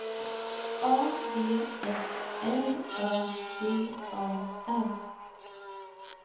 A V S L Ö J A R